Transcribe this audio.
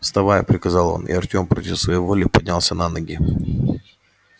вставай приказал он и артём против своей воли поднялся на ноги